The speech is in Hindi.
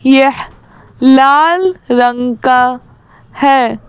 यह लाल रंग का है।